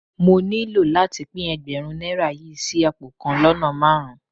Mo nílò láti pín Ẹgbẹ̀rún náírà yí sí pón kan lọ́nà márùn-ún.